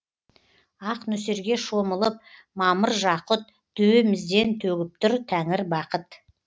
ақ нөсерге шомылып мамыр жақұт төбемізден төгіп тұр тәңір бақыт